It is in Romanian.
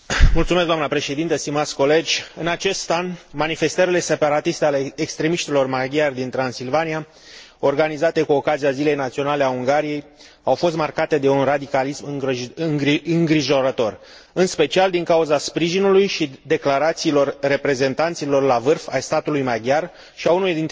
În acest an, manifestările separatiste ale extremiștilor maghiari din Transilvania, organizate cu ocazia Zilei Naționale a Ungariei, au fost marcate de un radicalism îngrijorător, în special din cauza sprijinului și declarațiilor reprezentanților la vârf ai statului maghiar și ale unuia dintre vicepreședinții Parlamentului European.